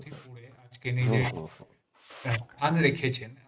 আজকের নির্দিষ্ট আম রেখেছেন